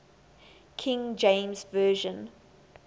king james version